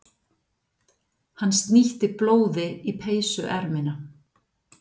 Hann snýtti blóði í peysuermina.